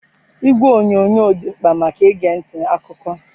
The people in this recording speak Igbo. Igwe onyonyo dị mkpa maka ige ntị akụkọ.